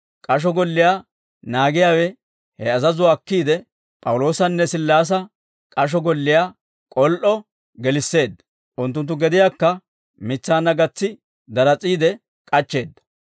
K'asho golliyaa naagiyaawe he azazuwaa akkiide, P'awuloosanne Sillaasa k'asho golliyaa k'ol"o gelisseedda; unttunttu gediyaakka mitsaanna gatsi daras'iide k'achcheedda.